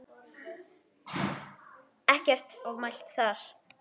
Ekkert ofmælt þar.